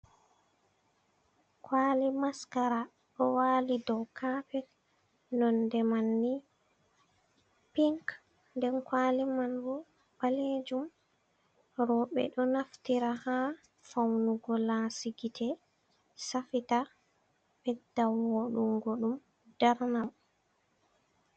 Kwali maskara do wali dow kapet, nonde man ni pink den kwali manbo balejum roɓe do naftira ha faunugo lasigite safita bedda vodungo dum darna dum.